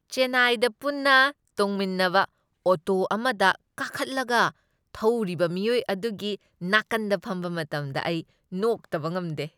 ꯆꯦꯟꯅꯥꯏꯗ ꯄꯨꯟꯅ ꯇꯣꯡꯃꯤꯟꯅꯕ ꯑꯣꯇꯣ ꯑꯃꯗ ꯀꯥꯈꯠꯂꯒ ꯊꯧꯔꯤꯕ ꯃꯤꯑꯣꯏ ꯑꯗꯨꯒꯤ ꯅꯥꯀꯟꯗ ꯐꯝꯕ ꯃꯇꯝꯗ ꯑꯩ ꯅꯣꯛꯇꯕ ꯉꯝꯗꯦ꯫